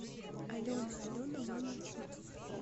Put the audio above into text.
алена алена мамин суп